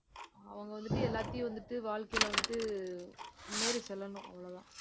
அவங்க வந்துட்டு எல்லாத்தையும் வந்துட்டு வாழ்க்கையில வந்துட்டு முன்னேறி செல்லணும், அவ்வளவுதான்